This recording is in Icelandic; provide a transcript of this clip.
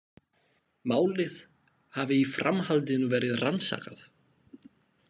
Málið hafi í framhaldinu verið rannsakað